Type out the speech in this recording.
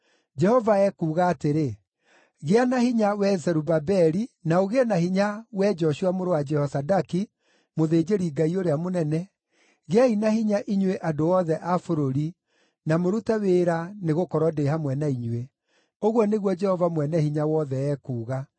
Jehova ekuuga atĩrĩ, ‘Gĩa na hinya, wee Zerubabeli, na ũgĩe na hinya, wee Joshua mũrũ wa Jehozadaki, mũthĩnjĩri-Ngai ũrĩa mũnene, gĩai na hinya inyuĩ andũ othe a bũrũri, na mũrute wĩra, nĩgũkorwo ndĩ hamwe na inyuĩ.’ Ũguo nĩguo Jehova Mwene-Hinya-Wothe ekuuga.